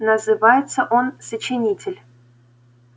называется он сочинитель